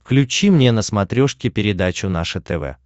включи мне на смотрешке передачу наше тв